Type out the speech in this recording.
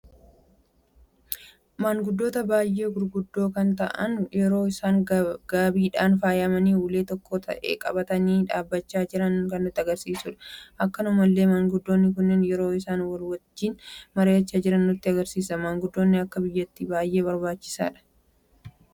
Manguddoota baay'ee gurguddoo kan ta'aan yeroo isaan gaabiidhan faayamani ulee okkoo ta'e qabatani dhaabbachaa jiran kan nutti agarsiisuudha. Akkuma kanallee manguddoonni kun yeroo isaan walii wajjin mari'acha jiran nutti agarsiisa. Manguddoonni akka biyyattis baay'ee barbaachisa.